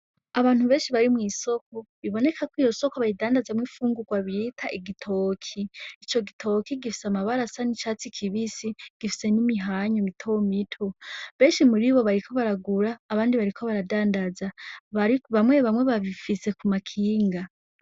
Abantu benshi bari mw'isoko biboneka ko iyo soko bayidandazamwo ifungurwa bita igitoki, ico gitoki gifise amabara asa n'icatsi kibisi, gifise n'imihanyu mitomito. Benshi muri bo bariko baragura, abandi bariko baradandaza, bamwe bamwe babifise kuma kinga.